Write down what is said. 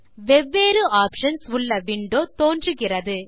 வெவ்வேறு ஆப்ஷன்ஸ் உள்ள விண்டோ தோன்றுகிறது